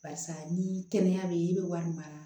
Barisa ni kɛnɛya be yen i be wari mara